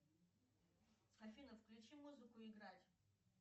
афина включи музыку играть